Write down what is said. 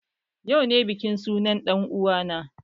Yau ne bikin sunan dan uwa na